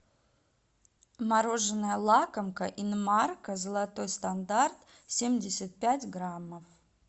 мороженное лакомка инмарко золотой стандарт семьдесят пять граммов